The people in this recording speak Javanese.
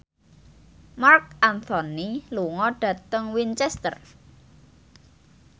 Marc Anthony lunga dhateng Winchester